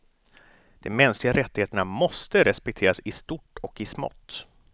De mänskliga rättigheterna måste respekteras i stort och i smått.